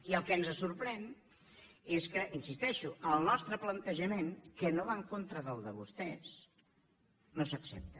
i el que ens sorprèn és que hi insisteixo el nostre plantejament que no va en contra del de vostès no s’accepta